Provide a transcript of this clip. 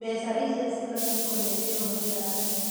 Mbeca icio cibatĩĩ kũnegerwo mbirarũ